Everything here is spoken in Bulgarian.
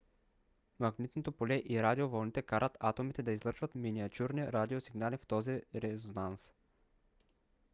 магнитното поле и радиовълните карат атомите да излъчват миниатюрни радиосигнали в този резонанс